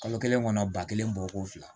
Kalo kelen kɔnɔ ba kelen bɔ ko fila